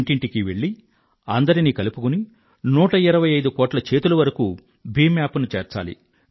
ఇంటింటికీ వెళ్ళి అందరినీ కలుపుకుని 125 కోట్ల చేతుల వరకూ భీమ్ అప్ ను చేర్చాలి